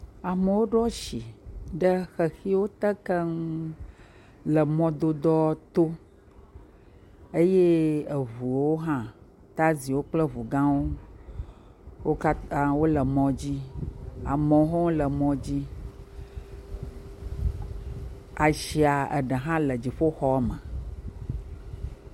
Amewo ɖo asi ɖe xexiwo te keŋ le mɔ dodoa to eye ŋuwo hã; taksiwo kple ŋu gãwo, wo katã wole mɔ dzi. Amewo hã le mɔ dzi. Asia ɖe hã le dziƒoxɔ me.